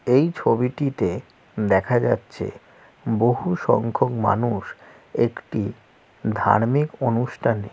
এইই ছবিটিতে দেখা যাচ্ছেএ বহু সংখ্যক মানুউষ একটি ধার্মিক অনুষ্ঠানে --